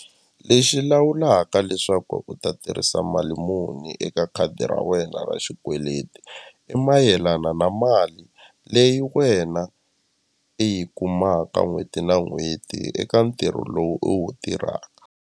Lexi lawulaka leswaku u ta tirhisa mali muni eka khadi ra wena ra xikweleti i mayelana na mali leyi wena i yi kumaka n'hweti na n'hweti eka ntirho lowu u wu tirhaka.